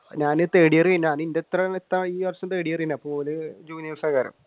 ഞാൻ third year കഴിഞ്ഞു